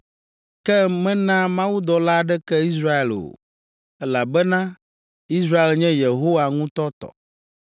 Ke mena mawudɔla aɖeke Israel o, elabena Israel nye Yehowa ŋutɔ tɔ!